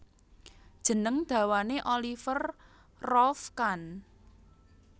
Jeneng dawane Oliver Rolf Kahn